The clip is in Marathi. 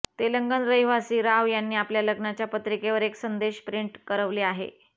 तेलंगण रहिवासी राव यांनी आपल्या लग्नाच्या पत्रिकेवर एक संदेश प्रिंट करवले आहे